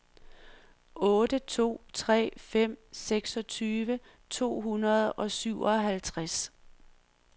otte to tre fem seksogtyve to hundrede og syvoghalvtreds